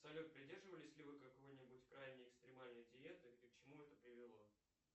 салют придерживались ли вы какой нибудь крайне экстремальной диеты и к чему это привело